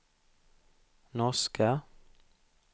norska